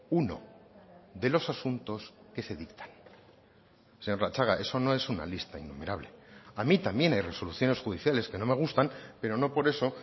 uno de los asuntos que se dictan señor latxaga eso no es una lista innumerable a mí también hay resoluciones judiciales que no me gustan pero no por eso